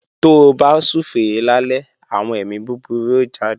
Tó bá súfèé lálẹ́, àwọn èmi búburú ó jáde